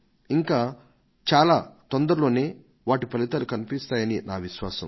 ఇంకా చాలా తొందరలోనే వాటి ఫలితాలు కనిపిస్తాయని నా విశ్వాసం